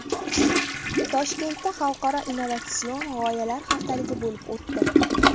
Toshkentda xalqaro innovatsion g‘oyalar haftaligi bo‘lib o‘tdi .